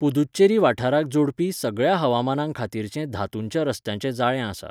पुदुच्चेरी वाठाराक जोडपी सगळ्या हवामानां खातीरचें धातूंच्या रस्त्यांचें जाळें आसा.